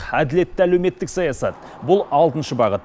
әділетті әлеуметтік саясат бұл алтыншы бағыт